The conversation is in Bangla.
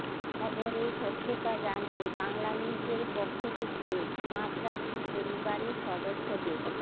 খবরের সত্যতা জানতে বাংলানিউজের পক্ষ থেকে মাশরাফির পরিবারের সদস্যদের